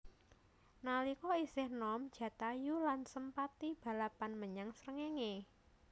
Nalika isih nom Jatayu lan Sempati balapan menyang srengéngé